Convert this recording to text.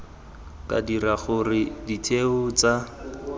ka dira gore ditheo tsa